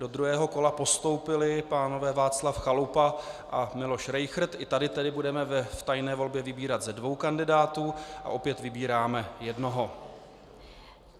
Do druhého kola postoupili pánové Václav Chalupa a Miloš Rejchrt, i tady tedy budeme v tajné volbě vybírat ze dvou kandidátů a opět vybíráme jednoho.